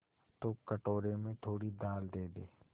तो कटोरे में थोड़ी दाल दे दे